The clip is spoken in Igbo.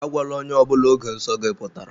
Agwala ónyé ọbula ógè nsọ gị pụtara!